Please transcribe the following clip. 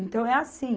Então, é assim.